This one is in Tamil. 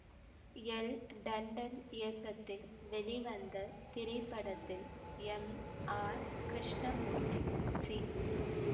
எல் டண்டன் இயக்கத்தில் வெளிவந்த இத்திரைப்படத்தில் எம் ஆர் கிருஷ்ணமூர்த்தி சி